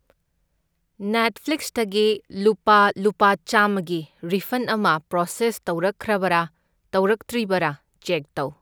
ꯅꯦꯠꯐ꯭ꯂꯤꯛꯁꯇꯒꯤ ꯂꯨꯄꯥ ꯂꯨꯄꯥ ꯆꯥꯝꯃꯒꯤ ꯔꯤꯐꯟ ꯑꯃ ꯄ꯭ꯔꯣꯁꯦꯁ ꯇꯧꯔꯛꯈ꯭ꯔꯕ꯭ꯔꯥ ꯇꯧꯔꯛꯇ꯭ꯔꯤꯕ꯭ꯔꯥ ꯆꯦꯛ ꯇꯧ꯫